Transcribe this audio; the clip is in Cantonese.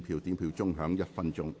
表決鐘會響1分鐘。